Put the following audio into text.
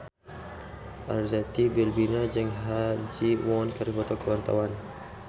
Arzetti Bilbina jeung Ha Ji Won keur dipoto ku wartawan